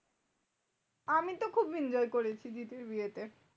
আমি তো খুব enjoy করেছি দিদির বিয়েতে।